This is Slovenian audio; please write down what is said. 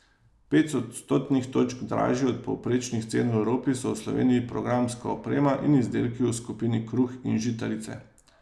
Pet odstotnih točk dražji od povprečnih cen v Evropi so v Sloveniji programska oprema in izdelki v skupini kruh in žitarice.